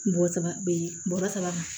Bɔrɔ saba bɔrɔ saba ma